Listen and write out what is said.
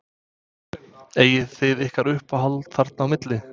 Eigið þið ykkur uppáhald þarna á milli?